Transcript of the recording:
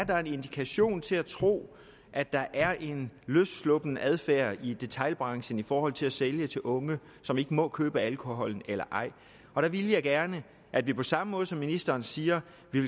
der er en indikation til at tro at der er en løssluppen adfærd i detailbranchen i forhold til at sælge til unge som ikke må købe alkoholen eller ej der ville jeg gerne at vi på samme måde som ministeren siger